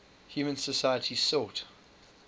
human societies sought